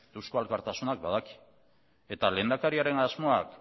eusko alkartasunak badaki eta lehendakariaren asmoak